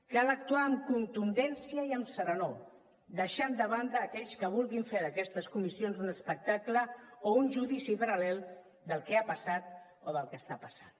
cal actuar amb contundència i amb serenor deixant de banda aquells que vulguin fer d’aquestes comissions un espectacle o un judici paral·lel del que ha passat o del que està passant